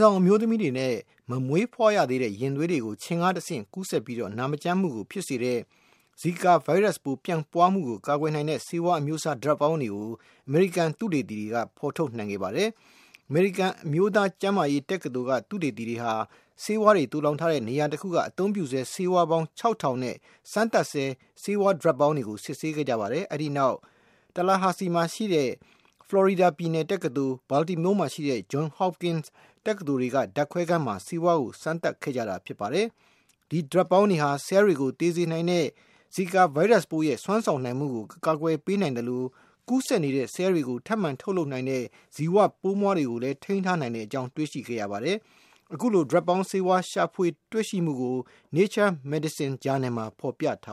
ဆောင် အမျိုးသမီးတွေနဲ့ မမွေးဖွားရသေးတဲ့ ရင်သွေးတွေကို ခြင် ကနေဆင့် ကူးစက်ပြီး နာမကျန်းမှုကို ဖြစ်စေနိုင်တဲ့ Zika ဗိုင်းရပ်စ်ပိုး ပြန့်ပွားမှုကို ကာကွယ်နိုင်တဲ့ ဆေးဝါးအမျိုးအစား ဓါတ်ပေါင်း တွေကို အမေရိကန် သုတေသီတွေက ဖေါ်ထုတ်နိုင်ခဲ့ပါတယ်။ U.S. National Institutes of Health က သုတေသီတွေဟာ ဆေးဝါးတွေသိုလှောင်ထားတဲ့ နေရာတခုက အသုံးပြုဆဲ ဆေးဝါးပေါင်း ၆ ထောင် နဲ့ စမ်းသပ်ဆဲ ဆေးဝါး ဓါတ်ပေါင်းတွေကို စစ်ဆေးခဲ့ကြပါတယ်။ အဲဒီနောက် Tallahassee မှာရှိတဲ့ Florida State University ၊ Baltimore မှာရှိတဲ့ Johns Hopkins University တွေက ဓါတ်ခွဲခန်းတွေမှာ ဆေးဝါးကို စမ်းသပ်ခဲ့ကြပါတယ်။ ဒီဓါတ်ပေါင်းတွေဟာ ဆဲလ်တွေကို သေစေနိုင်တဲ့ Zika ဗိုင်းရပ်စ် ရဲ့ စွမ်းဆောင်နိုင်မှုကို အကာကွယ်ပေးနိုင် သလို ကူးစက်နေတဲ့ ဆဲလ်တွေကို ထပ်မံ ထုတ်လုပ်နိုင်တဲ့ ဇီဝပိုးမွှားကိုလည်း ထိန်းထားနိုင်ကြောင်း တွေ့ရှိခဲ့ပါတယ်။ အခုလို ဓါတ်ပေါင်းဆေးဝါး ရှာဖွေတွေ့ရှိမှုကို Nature Medicine ဂျာနယ်မှာ ဖေါ်ပြထာ